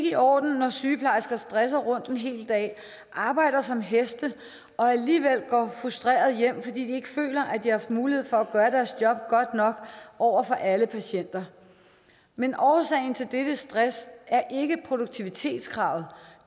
i orden når sygeplejersker stresser rundt en hel dag arbejder som heste og alligevel går frustrerede hjem fordi de ikke føler at de har haft mulighed for at gøre deres job godt nok over for alle patienter men årsagen til dette stress er ikke produktivitetskravet